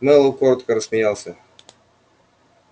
мэллоу коротко рассмеялся